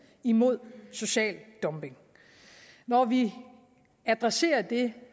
mod social dumping når vi adresserer det